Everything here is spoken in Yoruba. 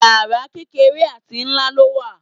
Wáyà kékeré àti ńlá ló wà.